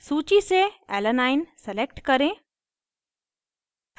सूची से alanine alanine select करें